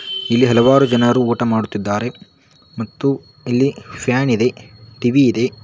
ಇಲ್ಲಿ ಹಲವಾರು ಜನರು ಊಟ ಮಾಡುತ್ತಿದ್ದಾರೆ ಮತ್ತು ಇಲ್ಲಿ ಫ್ಯಾನ್ ಇದೆ ಟಿ_ವಿ ಇದೆ.